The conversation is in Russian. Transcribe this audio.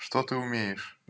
что ты умеешь